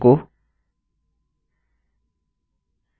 echo